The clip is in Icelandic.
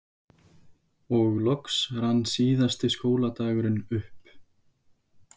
Og loks rann síðasti skóladagurinn upp.